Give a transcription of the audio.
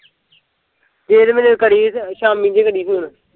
ਫੇਰ ਮੈਨੂੰ ਕਰੀ ਸ਼ਾਮੀ ਜਹੇ ਲੱਗੇ ਫੂਨ